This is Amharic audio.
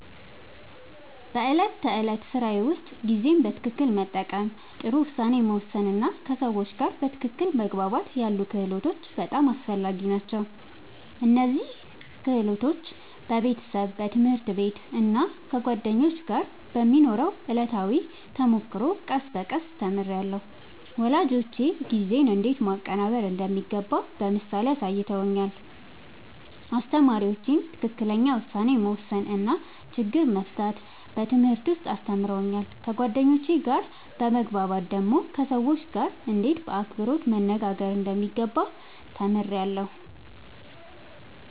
በዕለት ተዕለት ሥራዬ ውስጥ ጊዜን በትክክል መጠቀም፣ ጥሩ ውሳኔ መወሰን እና ከሰዎች ጋር በትክክል መግባባት ያሉ ክህሎቶች በጣም አስፈላጊ ናቸው። እነዚህን ክህሎቶች በቤተሰብ፣ በትምህርት ቤት እና ከጓደኞች ጋር በሚኖረው ዕለታዊ ተሞክሮ ቀስ በቀስ ተምሬያለሁ። ወላጆቼ ጊዜን እንዴት ማቀናበር እንደሚገባ በምሳሌ አሳይተውኛል፣ አስተማሪዎቼም ትክክለኛ ውሳኔ መወሰን እና ችግር መፍታት በትምህርት ውስጥ አስተምረውኛል። ከጓደኞቼ ጋር በመግባባት ደግሞ ከሰዎች ጋርእንዴት በአክብሮት መነጋገር እንደሚገባ ተምሬያለሁ።